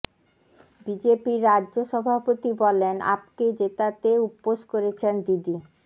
বিজেপির রাজ্য় সভাপতি বলেন আপকে জেতাতে উপোস করেছেন দিদি